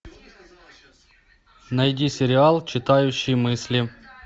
найди сериал читающий мысли